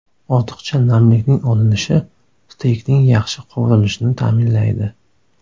Ortiqcha namlikning olinishi steykning yaxshi qovurilishini ta’minlaydi.